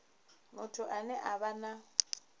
muthu ane a vha na